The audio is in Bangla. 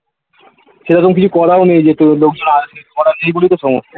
সেরকম কিছু করাও নেই যে লোকজন আসবে করা নেই বলেই তো সমস্যা